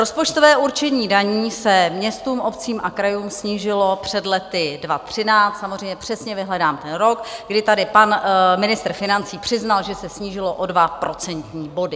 Rozpočtové určení daní se městům, obcím a krajům snížilo před lety 2013 - samozřejmě přesně vyhledám ten rok - kdy tady pan ministr financí přiznal, že se snížilo o dva procentní body.